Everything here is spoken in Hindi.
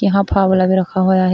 यहां फावड़ा भी रखा हुआ है।